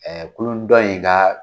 Ɛɛ kulu dɔn in ka